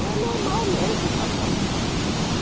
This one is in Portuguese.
E é normal mesmo passar mal.